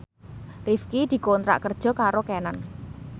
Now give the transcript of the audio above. Rifqi dikontrak kerja karo Canon